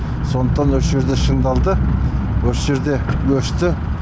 сондықтан осы жерде шыңдалды осы жерде өсті